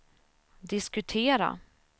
diskutera